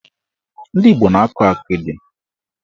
Ndị Igbo na-akọ akịdị.